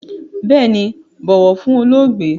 Bééni, bọ̀wọ̀ fún olóògbé!